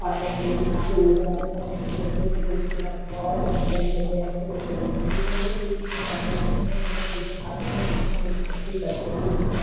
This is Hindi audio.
और बच्चे काफी एन्जॉय कर रहे हैं बच्चे उसके इलावा बच्चे बहोत ही पसंद होते हैं छोटे-छोटे बच्चे के लिए पसंद करते हैं ।